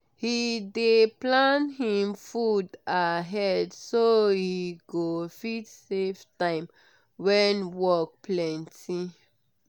he dey plan him food ahead so he go fit save time when work plenty.